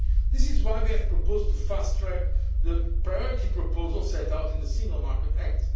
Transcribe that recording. in Europe. This is why we have proposed fast tracking the priority proposals set out in the Single Market